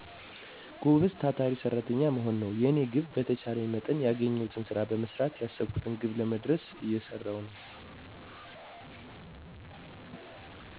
ጎበዝ ታታሪ ሰራተኛ መሆን ነው። የኔ ግብ በተቻለኝ መጠን ያገኘውትን ስራ በመሰራት ያሰብኩትን ግብ ለመድረስ እየሰራው ነው።